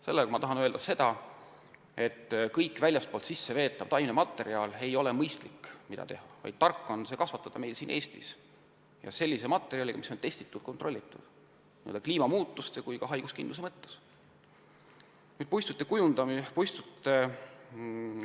Sellega tahan ma öelda, et pole mõistlik vedada taimematerjali sisse väljast, vaid tark on kasvatada seda siin Eestis kohapeal ja sellisest materjalist, mida on testitud-kontrollitud nii kliimamuutuste kui ka haiguskindluse suhtes.